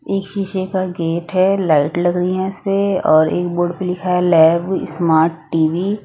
एक शीशे का गेट है लाइट लग रही हैं इस पे और एक बोर्ड पे लिखा है लाइव स्मार्ट टी_वी ।